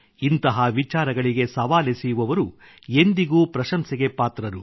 ಇಂಥ ವಿಚಾರಗಳಿಗೆ ಸವಾಲೆಸೆಯುವವರು ಎಂದಿಗೂ ಪ್ರಶಂಸೆಗೆ ಪಾತ್ರರು